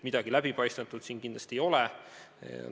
Midagi läbipaistmatut siin kindlasti ei ole.